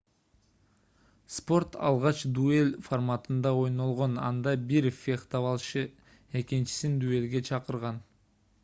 спорт алгач дуэль форматында ойнолгон анда бир фехтовалчы экинчисин дуэлге чакырган